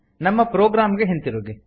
ನಮ್ಮ ಪ್ರೊಗ್ರಾಮ್ ಗೆ ಹಿಂತಿರುಗಿ